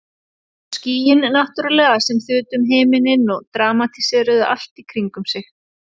Og skýin náttúrlega sem þutu um himininn og dramatíseruðu allt í kringum sig.